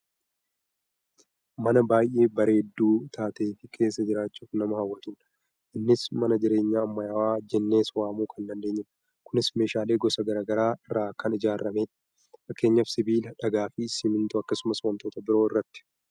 Mana baayyee bareedduu taateefi keessa jiraachuuf nama hawwatudha. Innis mana jireenyaa ammayyaawaa jennees waamuu kan dandeenyudha. Kunis meeshaalee gosa gara garaa irraa kan ijaarramedha. Fakkeenyaaf sibiila, dhagaafi simmintoo akkasumas wantoota biroo irraati.